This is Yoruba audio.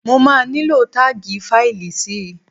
Mo máa nílò táàgì fáìlì si.